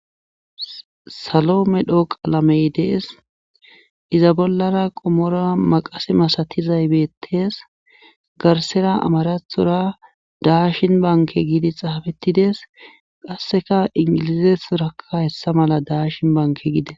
Salo medhio qalamey dees iza bollara qommo maqase masatizay beettees garssera amarathora daashin bankke gidi xaafettides qasseka inggilzethora hessa mela daashin bankke gides.